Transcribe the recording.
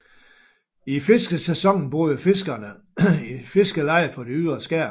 I fiskesæsonen boede fiskerne i fiskelejer på de ydre skær